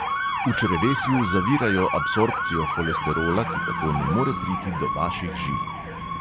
V črevesju zavirajo absorpcijo holesterola, ki tako ne more priti do vaših žil.